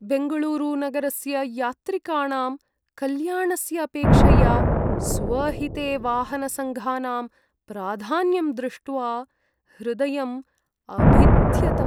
बेङ्गळूरुनगरस्य यात्रिकाणां कल्याणस्य अपेक्षया स्वहिते वाहनसङ्घानां प्राधान्यं दृष्ट्वा हृदयम् अभिद्यत।